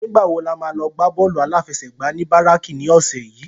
Nigbá wó lámá lò gbá bòlú áláfèsègbá ni báráki ni òsè yi?